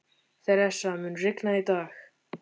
Theresa, mun rigna í dag?